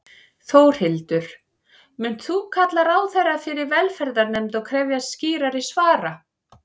Þórhildur: Munt þú kalla ráðherra fyrir velferðarnefnd og krefjast skýrari svara?